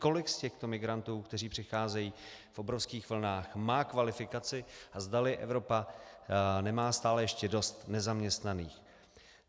Kolik z těchto migrantů, kteří přicházejí v obrovských vlnách, má kvalifikaci a zdali Evropa nemá stále ještě dost nezaměstnaných.